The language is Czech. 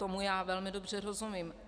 Tomu já velmi dobře rozumím.